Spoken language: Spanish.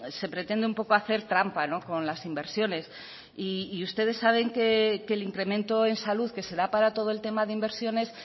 se pretende un poco hacer trampa con las inversiones y ustedes saben que el incremento en salud que se da para todo el tema de inversiones